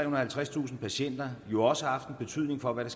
og halvtredstusind patienter jo også har haft en betydning for hvad